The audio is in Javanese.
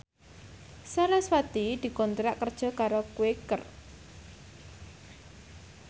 sarasvati dikontrak kerja karo Quaker